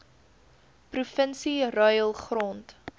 provinsie ruil grond